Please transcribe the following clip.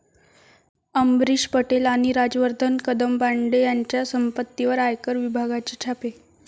अमरीश पटेल आणि राजवर्धन कदमबांडे यांच्या संपत्तीवर आयकर विभागाचे छापे